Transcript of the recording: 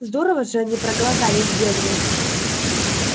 здорово же они проголодались генри